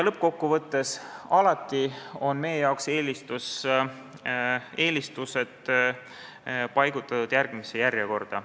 Lõppkokkuvõttes, alati on meil eelistused paigutatud järgmisesse järjekorda.